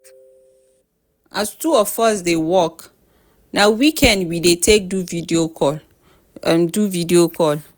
as two of us dey work na weekend we dey take do video call. do video call.